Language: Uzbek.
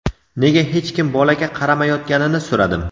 nega hech kim bolaga qaramayotganini so‘radim.